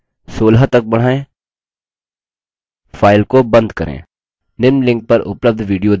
अधिक जानकारी के लिए कृपया contact at spoken hyphen tutorial dot org पर संपर्क करें